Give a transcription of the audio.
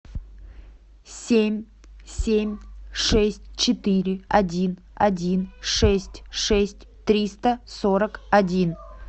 семь семь шесть четыре один один шесть шесть триста сорок один